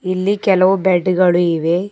ಇಲ್ಲಿ ಕೆಲವು ಬೆಡ್ ಗಳು ಇವೆ.